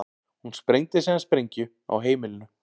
Hún sprengdi síðan sprengju á heimilinu